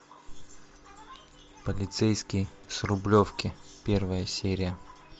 полицейский с рублевки первая серия